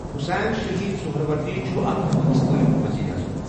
حسین شہید سہروردی چھُ اَکھ پٲکِستٲنۍ ؤزیٖرِ اعظم